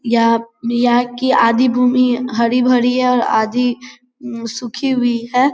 यहां यहा की आधी भूमि हरी-भरी है और आधी मम सुखी हुई है।